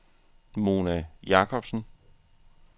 Mona Jacobsen